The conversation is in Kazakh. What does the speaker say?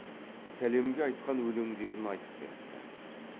сәлемге айтқан өлеңдерін айтып беріпті